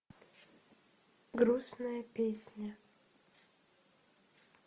грустная песня